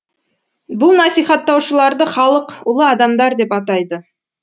бұл насихаттаушыларды халық ұлы адамдар деп атайды